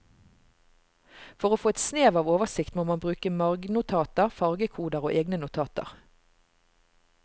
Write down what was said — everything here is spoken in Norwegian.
For å få et snev av oversikt må man bruke margnotater, fargekoder og egne notater.